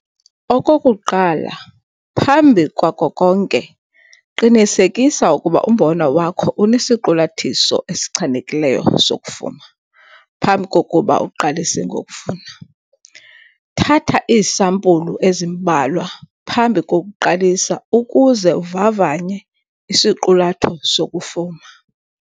Okokuqala phambi kwako konke, qinisekisa ukuba umbona wakho unesiqulathiso esichanekileyo sokufuma phambi kokuba uqalise ngokuvuna. Thatha iisampulu ezimbalwa phambi kokuqalisa ukuze uvavanye isiqulatho sokufuma.